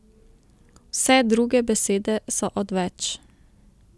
Vse druge besede so odveč.